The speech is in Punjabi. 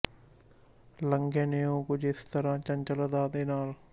ਲੰਘੇ ਨੇ ਉਹ ਕੁਝ ਇਸ ਤਰ੍ਹਾਂ ਚੰਚਲ ਅਦਾ ਦੇ ਨਾਲ਼